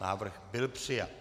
Návrh byl přijat.